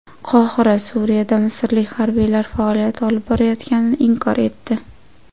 Qohira Suriyada misrlik harbiylar faoliyat olib borayotganini inkor etdi.